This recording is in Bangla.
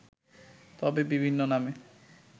তবে বিভিন্ন নামে